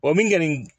O min kɔni